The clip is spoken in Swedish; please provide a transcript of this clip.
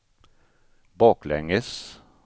baklänges